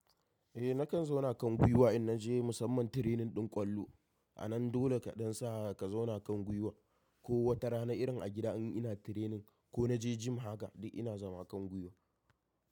Eh nakan zauna kan gwiwa in naje musamman training ɗin ƙwallo. Anan dole kaɗan sa ka zauna kan gwiwa. Ko wata rana irin a gida in ina training ko na je gym haka dai ina zama kan gwiwa.